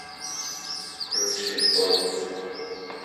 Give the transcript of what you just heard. включи ост